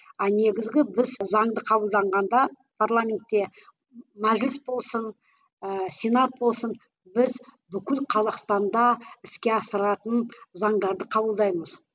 а негізгі біз заңды қабылданғанда парламентте мәжіліс болсын ыыы сенат болсын біз бүкіл қазақстанда іске асыратын заңдарды қабылдаймыз